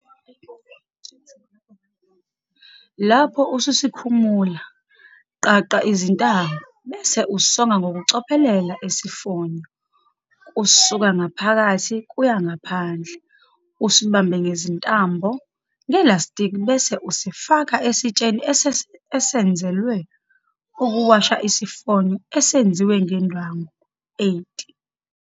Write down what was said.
Lapho ususikhumula, qaqa izintambo, bese usonga ngokucophelela isifonyo kusuka ngaphakathi kuya ngaphandle, usibambe ngezintambo - ngelastiki bese usifaka esitsheni esenzelwe ukuwasha isifonyo esenziwe ngendwangu. 8.